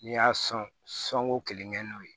N'i y'a sɔn sɔn ko kelen kɛ n'o ye